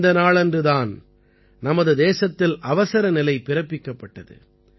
இந்த நாளன்று தான் நமது தேசத்தில் அவசரநிலை பிறப்பிக்கப்பட்டது